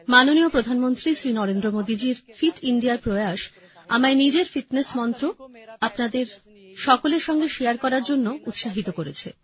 মাননীয় প্রধানমন্ত্রী শ্রী নরেন্দ্র মোদী জির ফিট ইন্ডিয়ার প্রয়াস আমায় নিজের ফিটনেস মন্ত্র আপনাদের সকলের সঙ্গে শারে করার জন্য উৎসাহিত করেছে